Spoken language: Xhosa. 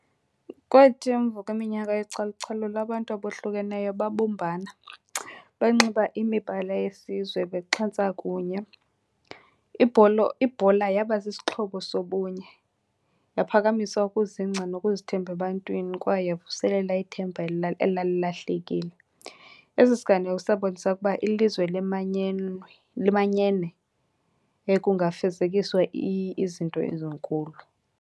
Kwathi emva kweminyaka yocalucalulo abantu abohlukeneyo babumbana, banxiba imibala yesizwe bexhentsa kunye. Ibhola yaba sisixhobo sobunye, yaphakamisa ukuzingca nokuzithemba ebantwini kwaye yavuselela ithemba elalilahlekile. Esi siganeko sabonisa ukuba ilizwe limanyene yaye kungafezekiswa izinto ezinkulu.